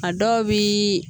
A dɔw biii